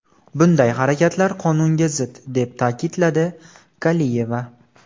Bunday harakatlar qonunga zid”, deb ta’kidladi Kaliyeva.